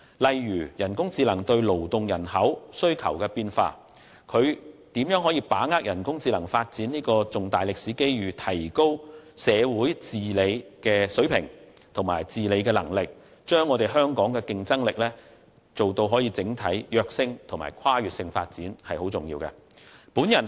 例如人工智能對勞動人口需求帶來的變化，以及如何把握人工智能發展的重大歷史機遇，提高社會治理的水平和能力，從而帶動香港競爭力的整體躍升及跨越性發展，這些都是非常重要的。